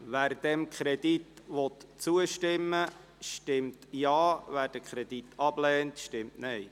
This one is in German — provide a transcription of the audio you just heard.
Wer diesem Kredit zustimmen will, stimmt Ja, wer diesen ablehnt, stimmt Nein.